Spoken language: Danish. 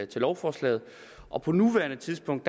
til lovforslaget og på nuværende tidspunkt